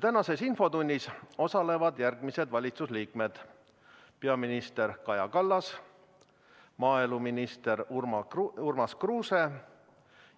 Tänases infotunnis osalevad järgmised valitsuse liikmed: peaminister Kaja Kallas, maaeluminister Urmas Kruuse